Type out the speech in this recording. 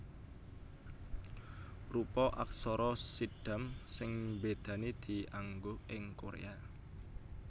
Rupa aksara Siddham sing mbédani dianggo ing Koréa